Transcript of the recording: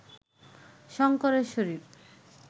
শঙ্করের শরীর